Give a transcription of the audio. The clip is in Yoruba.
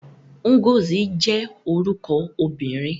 Ngozi jẹ́ orúkọ obìnrin.